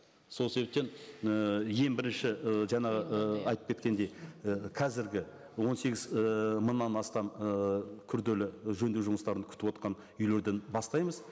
сол себептен і ең бірінші ы жаңа ы айтып кеткендей і қазіргі он сегіз ііі мыңнан астам ыыы күрделі жөндеу жұмыстарын күтівотқан үйлерден бастаймыз